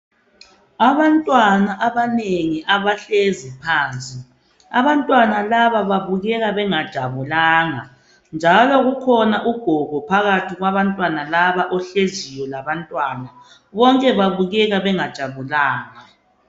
Abantwana abanengi abahlezi phansi . Abantwana laba babukeka bengajabulanga .Njalo kukhona ugogo phakathi kwabantwana laba ohleziyo labantwana. Bonke babukeka bengajabulanga.